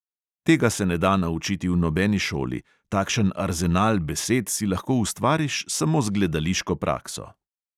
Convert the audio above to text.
Tega se ne da naučiti v nobeni šoli, takšen arzenal besed si lahko ustvariš samo z gledališko prakso …